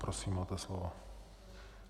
Prosím, máte slovo.